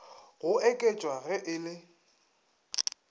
go oketšwa ge e le